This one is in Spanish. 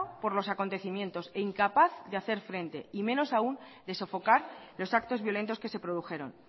por los acontecimientos e incapaz de hacer frente y menos aún de sofocar los actos violentos que se produjeron